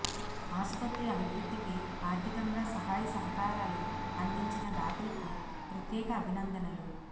ఆసుపత్రి అభివృద్ధికి ఆర్థికంగా సహాయ సహకారాలు అందించిన దాతలకు ప్రత్యేక అభినందనలు